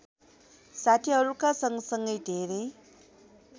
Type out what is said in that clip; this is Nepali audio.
साथिहरूका सँगसँगै धेरै